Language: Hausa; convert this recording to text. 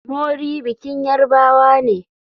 Mori bikin yarbawa ne.